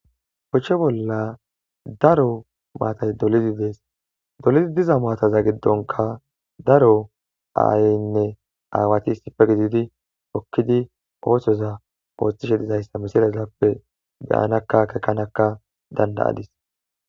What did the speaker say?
Poche bolla daro maatay dolidi dees dolizi diza maataza giddonka daro aayynne aawati issife gididi okkidi ootoza poostishe dizayssa misilazappe beyanakka kekanakka danda'adis